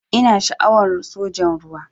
Ina sha'awan sojan ruwa.